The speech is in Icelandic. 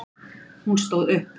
Hún stóð upp.